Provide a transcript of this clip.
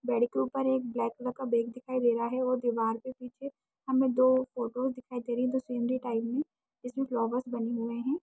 Bed के ऊपर एक ब्लैक कलर का बेग भी दिखाई दे रहा है और दीवार पे पीछे हमें दो फोटो दिखाई दे रही है जो स्केनरी टाइप में हैं जिसमे फ्लावर्स बने हुए हैं।